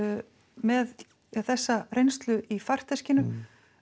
með þessa reynslu í farteskinu